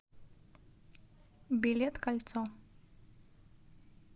билет кольцо